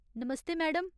नमस्ते madam.